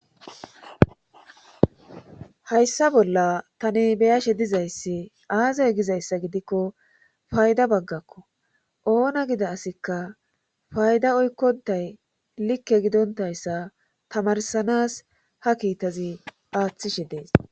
hayssa bolla tani beyashe dizayssi aazay gizayssa gidikko fayda baggakko oona gida asikka fayda oykkontay likke gidontayssa tamarsanas ha kiitazi aaththishe dees